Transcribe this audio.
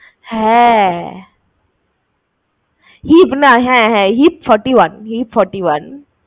হ্যাঁ hip না, হ্যাঁ হ্যাঁ hip, forty one hip, forty one